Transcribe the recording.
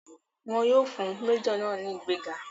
Wọn yóò fún méjọ̀ náà ní ìgbéga.